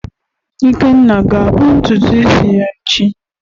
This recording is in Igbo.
Ikenna ga-akpụ ntutu isi ya echi?